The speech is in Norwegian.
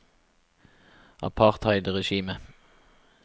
apartheidregimet